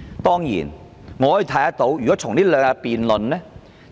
在這兩天的辯論